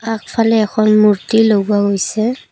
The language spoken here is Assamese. আগফালে এখন মূৰ্ত্তি লগোৱা হৈছে।